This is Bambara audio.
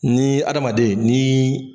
Ni adamaden niii.